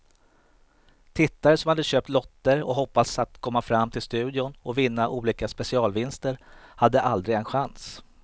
Tittare som hade köpt lotter och hoppats att komma fram till studion och vinna olika specialvinster hade aldrig en chans.